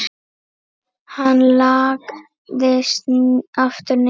Hann lagðist aftur niður.